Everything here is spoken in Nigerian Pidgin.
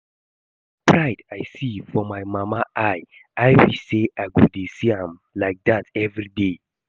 The kyn pride I see for my mama eye, I wish say I go dey see am like dat everyday